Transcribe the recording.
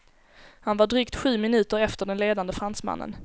Han var drygt sju minuter efter den ledande fransmannen.